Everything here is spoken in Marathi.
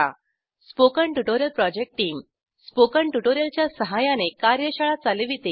spoken tutorial project team spoken tutorial च्या सहाय्याने कार्यशाळा चालविते